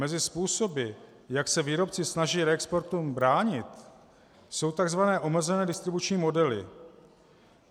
Mezi způsoby, jak se výrobci snaží reexportům bránit, jsou tzv. omezené distribuční modely.